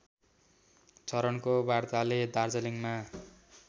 चरणको वार्ताले दार्जिलिङमा